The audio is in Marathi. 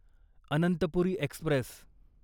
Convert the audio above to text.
अनंतपुरी एक्स्प्रेस